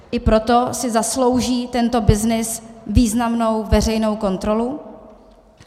I proto si zaslouží tento byznys významnou veřejnou kontrolu.